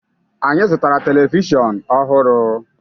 Anyị zụtara telivishọn ọhụrụ.